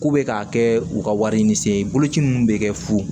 K'u bɛ k'a kɛ u ka wari ɲini se ye boloci min bɛ kɛ fuu